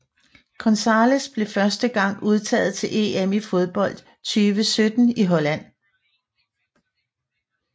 González blev første gang udtaget til EM i fodbold 2017 i Holland